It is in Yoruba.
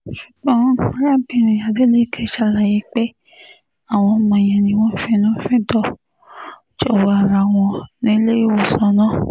ṣùgbọ́n arábìnrin adeleke ṣàlàyé pé àwọn ọmọ yẹn ni wọ́n finú-fíndọ̀ jọ̀wọ́ ara wọn nílé ìwòsàn náà